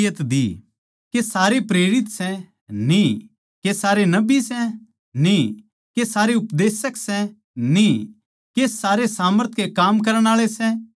के सारे प्रेरित सै न्ही के सारे नबी सै न्ही के सारे उपदेशक सै न्ही के सारे सामर्थ के काम करण आळे सै न्ही